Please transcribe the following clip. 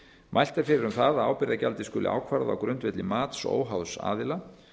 mælt er fyrir um það að ábyrgðargjaldið skuli ákvarðað á grundvelli mats óháðs aðila